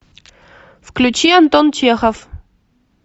включи антон чехов